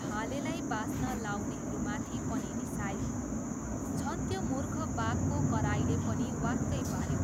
भालेलाई बास्न लाउनेहरूमाथि पनि रिसाए। झन त्यो मूर्ख बाघको कराइले पनि वाक्कै पाऱ्यो!